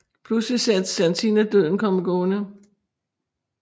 Pludselig ser Satina Døden komme gående